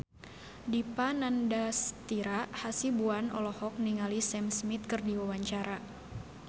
Dipa Nandastyra Hasibuan olohok ningali Sam Smith keur diwawancara